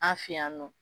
An fɛ yan nɔ